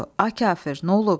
A kafir, nə olub?